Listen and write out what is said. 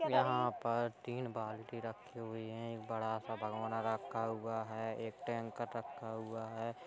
यहां पर तीन बाल्टी रखी हुई हैं। एक बड़ा सा भगौना रखा हुआ है। एक टैंकर रखा हुआ है।